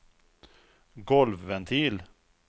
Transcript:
golvventil